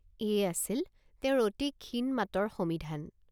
এয়ে আছিল তেওঁৰ অতি ক্ষীণ মাতৰ সমিধান।